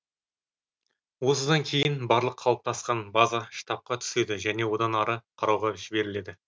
осыдан кейін барлық қалыптасқан база штабқа түседі және одан ары қарауға жіберіледі